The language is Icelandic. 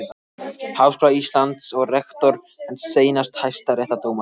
Háskóla Íslands og rektor en seinast hæstaréttardómari.